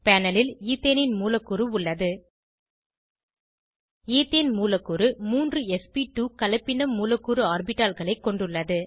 panel ல் ஈத்தேனின் மூலக்கூறு உள்ளது ஈத்தேன் மூலக்கூறு மூன்று ஸ்ப்2 கலப்பின மூலக்கூறு ஆர்பிட்டால்களை கொண்டுள்ளது